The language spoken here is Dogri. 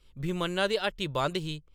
भीमन्ना दी हट्टी बंद ही ।